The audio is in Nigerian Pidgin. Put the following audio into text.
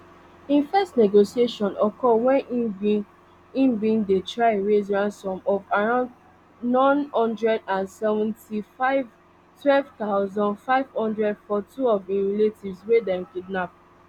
im first negotiation occur wen im bin im bin dey try raise ransom of around n one hundred and seventy-fivem twelve thousand, five hundred for two of im relatives wey dem kidnap